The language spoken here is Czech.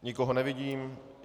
Nikoho nevidím.